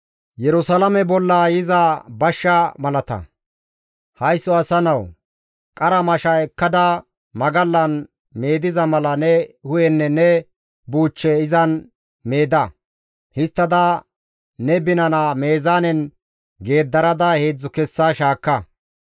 «Haysso asa nawu! Qara mashsha ekkada magallan meediza mala ne hu7enne ne buuchche izan meeda. Histtada ne binana meezaanen geeddarada heedzdzu kessa shaakka.